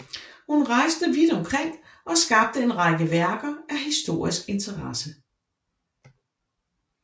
Hun rejste vidt omkring og skabte en række værker af historisk interesse